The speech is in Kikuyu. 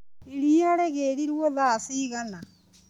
Iria rĩgĩrirwo thaa cigana.